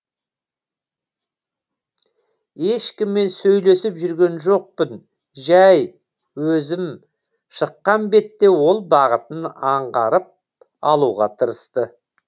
ешкіммен сөйлесіп жүрген жоқпын жай өзім шыққан бетте ол бағытын аңғарып алуға тырысты